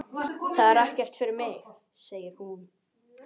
Það er ekkert fyrir mig, segir hún.